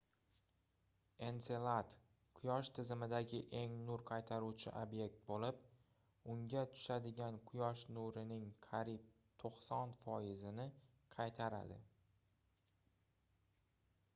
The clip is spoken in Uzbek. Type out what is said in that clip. enselad quyosh tizimidagi eng nur qaytaruvchi obyekt boʻlib unga tushadigan quyosh nurining qariyb 90 foizini qaytaradi